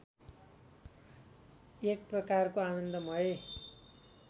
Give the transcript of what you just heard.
एक प्रकारको आनन्दमय